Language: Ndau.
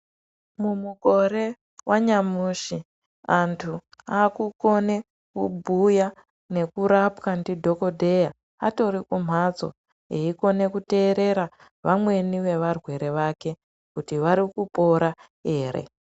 Mu mukore wa nyamushi antu aku kone kubhuya neku rapwa ndi dhokodheya atori kumhatso eyi kone ku teerera vamweni ve varwere vake kuti vari kupora ere.